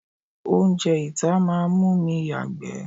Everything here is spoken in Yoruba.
Oúnjẹ ìta máa ń mú mi yagbe.